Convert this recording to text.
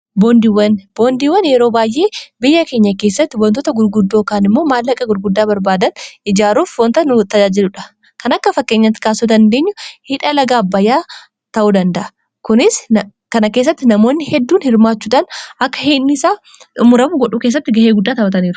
boondiiwwan yeroo baay'ee biyya keenya keessatti wantoota gurguddookaan immoo maallaqa gurguddaa barbaadan ijaaruuf wonta nu tajaajiludha kan akka fakkeenya kaasuu dandeenyu hidhala gaabayyaa ta'uu danda'a kunis kana keessatti namoonni hedduun hirmaachuudaan akka hinisaa dumuramu godhuu keessatti ga'ee guddaa ta'atanra